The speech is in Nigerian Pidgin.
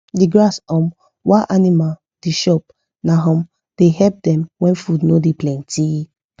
the grass um wa animal the chop na um da help them when food no da plenty